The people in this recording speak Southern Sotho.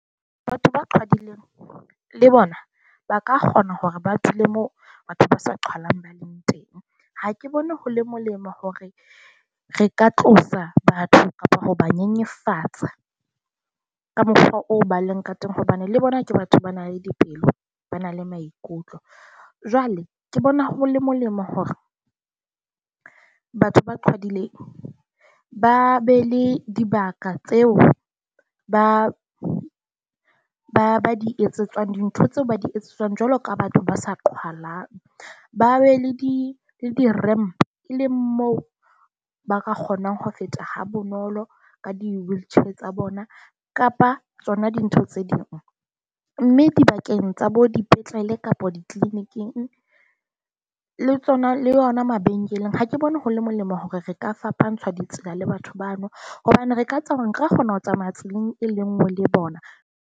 Batho ba qhwadileng le bona ba ka kgona hore ba dule mo batho ba sa qhwalang ba leng teng. Ha ke bone hore le molemo hore re ka tlosa batho kapo ho ba nyenyefatsa ka mofa o ba leng ka teng hobane le bona ke batho ba na le dipelo, ba na le maikutlo. Jwale ke bona ho le molemo hore batho ba qhwadileng ba be le dibaka tseo ba ba ba di etsetsang dintho tseo ba di etsetswang jwalo ka batho ba sa qhwalang. Ba be le di di-ramp, e leng moo ba ka kgonang ho feta ha bonolo ka di-wheelchair tsa bona kapa tsona dintho tse ding. Mme dibakeng tsa bodipetlele kapa di-clinic-ing le tsona, le yona mabenkeleng ha ke bone hore le molemo hore re ka fapantsha ditsela le batho bano, hobane re ka tseba hore nka kgona ho tsamaya tseleng e le nngwe le bona.